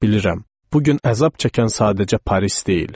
Bilirəm, bu gün əzab çəkən sadəcə Paris deyil.